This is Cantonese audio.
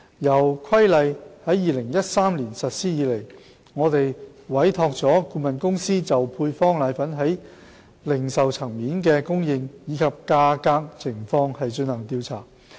由《規例》在2013年實施以來，我們委託了顧問公司就配方粉在零售層面的供應及價格情況進行調查。